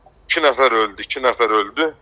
İki nəfər öldü, iki nəfər öldü.